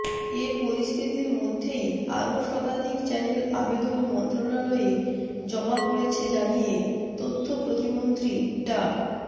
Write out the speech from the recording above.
এ পরিস্থিতির মধ্যেই আরও শতাধিক চ্যানেল আবেদন মন্ত্রণালয়ে জমা পড়েছে জানিয়ে তথ্য প্রতিমন্ত্রী ডা